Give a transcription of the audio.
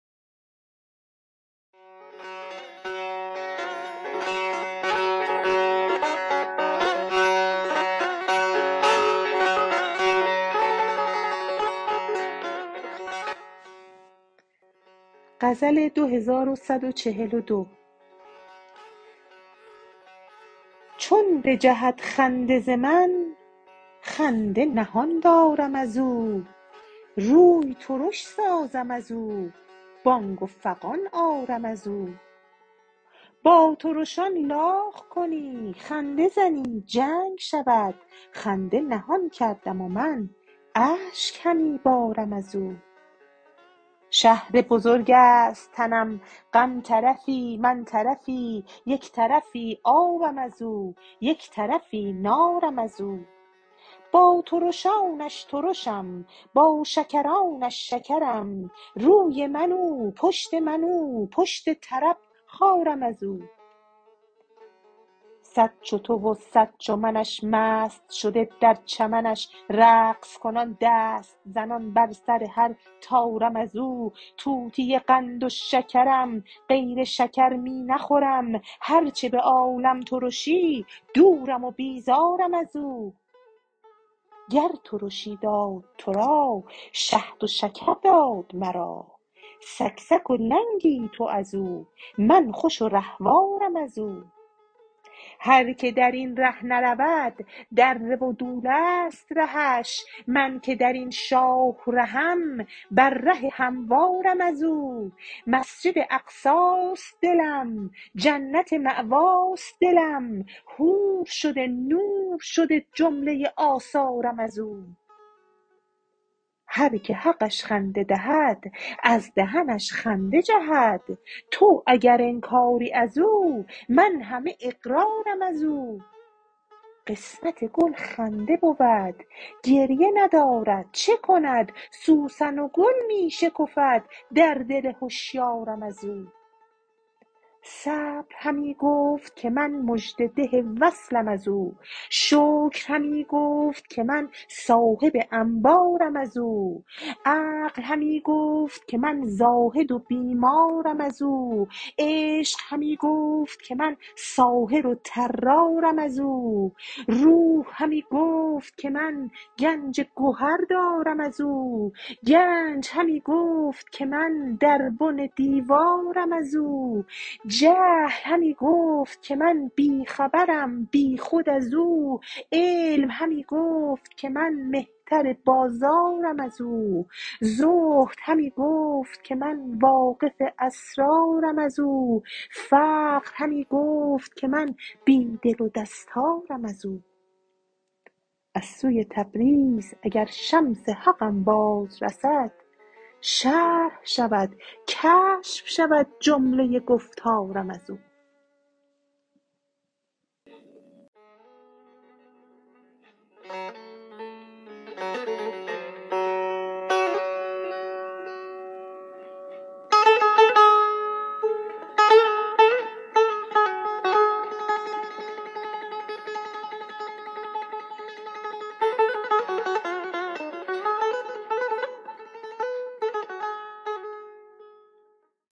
چون بجهد خنده ز من خنده نهان دارم از او روی ترش سازم از او بانگ و فغان آرم از او با ترشان لاغ کنی خنده زنی جنگ شود خنده نهان کردم من اشک همی بارم از او شهر بزرگ است تنم غم طرفی من طرفی یک طرفی آبم از او یک طرفی نارم از او با ترشانش ترشم با شکرانش شکرم روی من او پشت من او پشت طرب خارم از او صد چو تو و صد چو منش مست شده در چمنش رقص کنان دست زنان بر سر هر طارم از او طوطی قند و شکرم غیر شکر می نخورم هر چه به عالم ترشی دورم و بیزارم از او گر ترشی داد تو را شهد و شکر داد مرا سکسک و لنگی تو از او من خوش و رهوارم از او هر کی در این ره نرود دره و دوله ست رهش من که در این شاه رهم بر ره هموارم از او مسجد اقصاست دلم جنت مأواست دلم حور شده نور شده جمله آثارم از او هر کی حقش خنده دهد از دهنش خنده جهد تو اگر انکاری از او من همه اقرارم از او قسمت گل خنده بود گریه ندارد چه کند سوسن و گل می شکفد در دل هشیارم از او صبر همی گفت که من مژده ده وصلم از او شکر همی گفت که من صاحب انبارم از او عقل همی گفت که من زاهد و بیمارم از او عشق همی گفت که من ساحر و طرارم از او روح همی گفت که من گنج گهر دارم از او گنج همی گفت که من در بن دیوارم از او جهل همی گفت که من بی خبرم بیخود از او علم همی گفت که من مهتر بازارم از او زهد همی گفت که من واقف اسرارم از او فقر همی گفت که من بی دل و دستارم از او از سوی تبریز اگر شمس حقم باز رسد شرح شود کشف شود جمله گفتارم از او